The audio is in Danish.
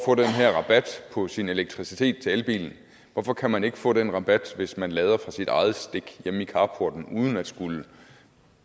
få den her rabat på sin elektricitet til elbilen hvorfor kan man ikke få den rabat hvis man lader fra sit eget stik hjemme i carporten uden at skulle